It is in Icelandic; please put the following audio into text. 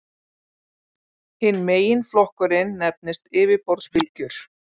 Hinn meginflokkurinn nefnist yfirborðsbylgjur.